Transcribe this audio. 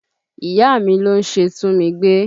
Ìyá mi ló ń ṣe túnmigbé